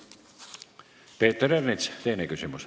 Peeter Ernits, teine küsimus.